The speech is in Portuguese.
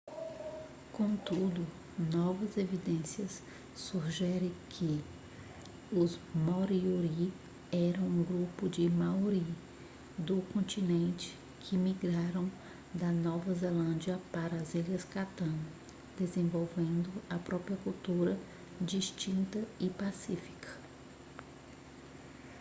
contudo novas evidências sugerem que os moriori eram um grupo de maori do continente que migraram da nova zelândia para as ilhas chatham desenvolvendo a própria cultura distinta e pacífica